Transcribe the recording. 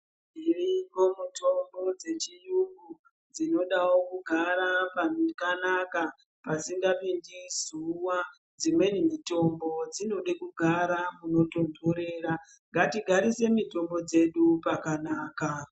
Dziriko mitombo dzechiyungu dzinodawo kugara pakanaka, pasingapindi zuwa. Dzimweni mitombo dzinode kugara munotondorera. Ngatigarise mitombo dzedu pakanaka.